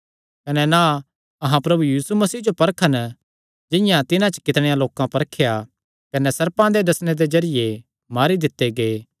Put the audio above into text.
कने ना अहां प्रभु यीशु मसीह जो परखन जिंआं तिन्हां च कितणेयां लोकां परखेया कने सर्पां दे डसणे दे जरिये मारी दित्ते गै